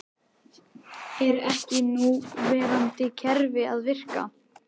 Er ekki núverandi kerfi að virka?